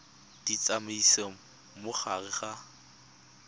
di tsamaisa mo gare ga